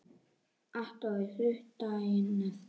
Allt orðið þurrt daginn eftir.